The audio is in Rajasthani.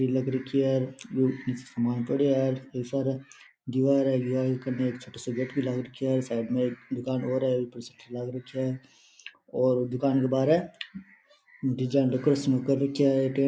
छतरी लग राखी है बहुत सारा सामान पड़े है बहुत सारा एक दिवार है दिवार में गेट लग रखे है और साइड में एक दुकान और है उस पर पोस्टर लग रखे है और वो दुकान के बाहर है डिजाइन डेकोरेशन कर राखेया है।